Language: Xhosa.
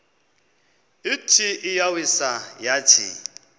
ithi iyawisa yathi